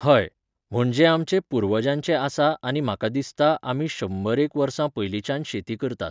हय, म्हणजे आमचें पुर्वजांचें आसा आनी म्हाका दिसता आमी शंबरएक वर्सां पयलींच्यान शेती करतात.